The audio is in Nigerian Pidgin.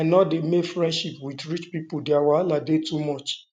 um i no dey make friends wit rich pipo their wahala dey too much